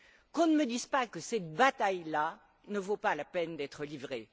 Qu'on ne me dise pas que cette bataille là ne vaut pas la peine d'être livrée.